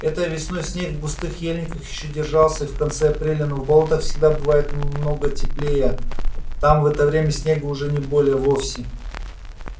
этой весной снег в густых ельниках ещё держался и в конце апреля но в болотах всегда бывает много теплее там в это время снега уже не было вовсе